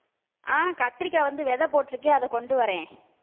அஹ் கத்திரிக்காய் வந்து விதை போட்டிருக்கேன் அதை கொண்டு வர்றேன்